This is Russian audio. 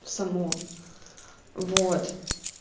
само вот